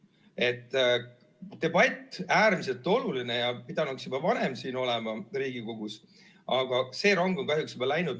See debatt on äärmiselt oluline ja pidanuks juba varem siin Riigikogus toimuma, aga see rong on kahjuks juba läinud.